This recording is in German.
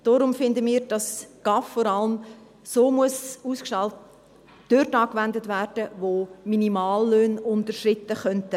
Deshalb finden wir, dass GAV vor allem dort angewendet werden, wo Minimallöhne unterschritten werden könnten.